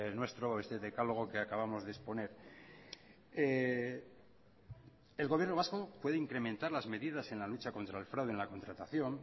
nuestro este decálogo que acabamos de exponer el gobierno vasco puede incrementar las medidas en la lucha contra el fraude en la contratación